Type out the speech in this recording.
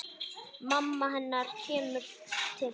Mamma hennar kemur til þeirra.